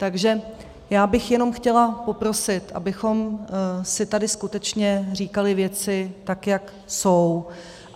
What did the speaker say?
Takže já bych jenom chtěla poprosit, abychom si tady skutečně říkali věci, tak jak jsou.